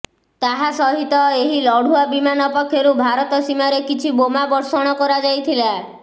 ତାହା ସହିତ ଏହି ଲଢ଼ୁଆ ବିମାନ ପକ୍ଷରୁ ଭାରତ ସୀମାରେ କିଛି ବୋମା ବର୍ଷଣ କରାଯାଇଥିଲା